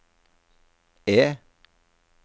E